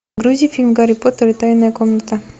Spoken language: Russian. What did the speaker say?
грузи фильм гарри поттер и тайная комната